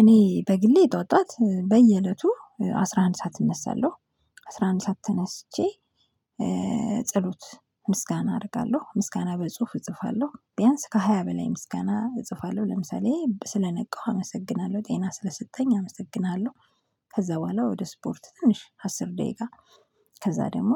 እኔ በግሌ ጠዋት ጠዋት በየእለቱ አስራ አንድ ሰዓት እነሳለሁ አስራ አንድ ሰዓት ተነስቼ። ጸሎት ምስጋና አደርጋለሁ ምስጋና በጽሁፍ እጽፋለሁ ቢያንስ ከሃያ በላይ ምስጋና እጽፋለሁ ለምሳሌ ስለነቃሁ አመሰግናለሁ ጤና ስለሰጠኝ አመሰግናለሁ። ከዛ በኋላ ወደ ስፖርት ትንሽ አስር ደቂቃ። ከዛ ደግሞ